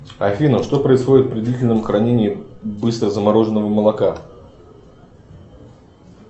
афина что происходит при длительном хранении быстрозамороженного молока